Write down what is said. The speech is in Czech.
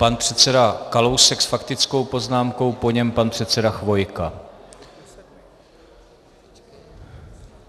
Pan předseda Kalousek s faktickou poznámkou, po něm pan předseda Chvojka.